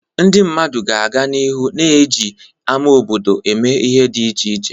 Ndị mmadụ ga-aga n'ihu na-eji ama obodo eme ihe dị iche iche.